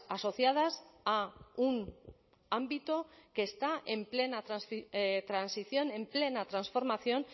asociadas a un ámbito que está en plena transición en plena transformación